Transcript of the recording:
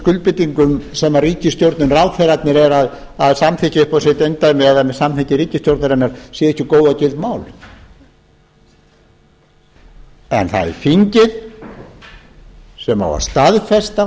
skuldbindingum sem ríkisstjórnin ráðherrarnir eru að samþykkja upp á sitt eindæmi eða með samþykki ríkisstjórnarinnar séu ekki góð og gild mál en það er þingið sem á að staðfesta og